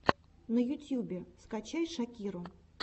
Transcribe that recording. на ютюбе скачай шакиру